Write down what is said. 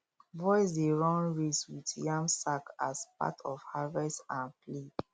boys dey run race with yam sack as part of harvest um play